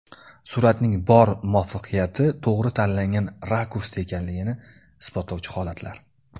Suratning bor muvaffaqiyati to‘g‘ri tanlangan rakursda ekanligini isbotlovchi holatlar .